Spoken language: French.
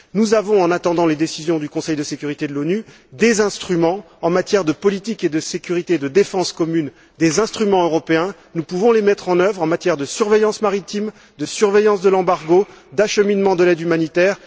Nous avons, en attendant les décisions du Conseil de sécurité de l'ONU, des instruments européens en matière de politique et de sécurité de défense commune, nous pouvons les mettre en œuvre en matière de surveillance maritime, de surveillance de l'embargo, d'acheminement de l'aide humanitaire.